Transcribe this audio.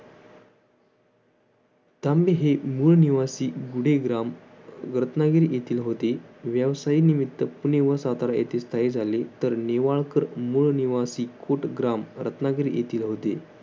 तांबे हे मूळ निवासी गूढेग्राम रत्नागिरी येथील होते. व्यवसायानिमित्त पुणे व सातारा येथे स्थायी झाले, तर नेवाळकर मूळ निवासी कुटग्राम रत्नागिरी येथील होते.